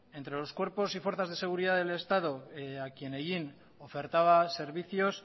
entre los cuerpos y fuerzas de seguridad del estado a quien hellín ofertaba servicios